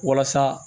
Walasa